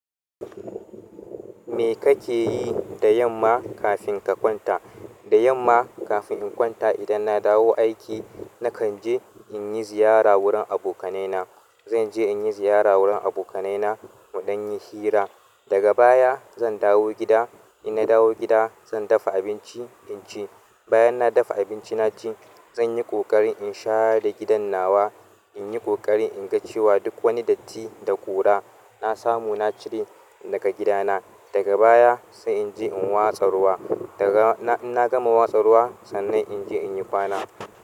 Me kake yi da yamma kafin ka kwanta? Da yamma kafin in kwanta idan na dawo aiki, na kan je in yi ziyara wurin abokanai na. Zan je in yi ziyara wurin abokanai na muɗan yi hira. Daga baya zan dawo gida. In na dawo gida, zan dafa abinci in ci. Bayan na dafa abinci na ci, zan yi ƙoƙarin in share gidan nawa. In yi ƙoƙarin in ga cewa duk wani datti da ƙura na samu na cire daga gida na. Daga baya sai in je in watsa ruwa. In na gama watsa ruwa sannan in je in yi kwana.